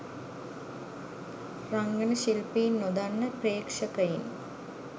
රංගන ශිල්පීන් නොදන්න ප්‍රේක්ෂකයින්